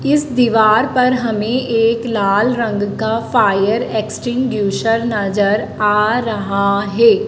इस दीवार पर हमें एक लाल रंग का फायर एक्सटिंग्यूशर नजर आ रहा है।